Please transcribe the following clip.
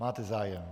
Máte zájem.